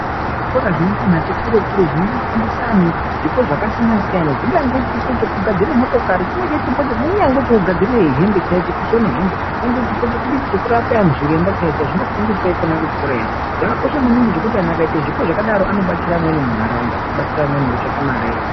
Kune zvikora zvinoenda antu ati kure kure zvinofundisaa anhu zvipo zvakasiyana siyana zvingange chipo chekugadzire motokari, kunyangwe chipo chokugadzire hembe chaicho, chokusone hembe, nyangwe chipo chokudii, chokurape anhu, zviremba chaizvo chaizvo zvinofundiswa ikona kuchikorayo, zvakakosha maningi zvekuti vantu vakaita zvipo zvakadaro anobatsira amweni mundaraundaa, kubatsira amweni ngekutsvake mare.